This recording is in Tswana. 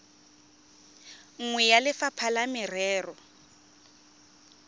nngwe ya lefapha la merero